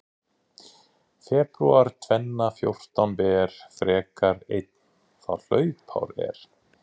Febrúar tvenna fjórtán ber frekar einn þá hlaupár er.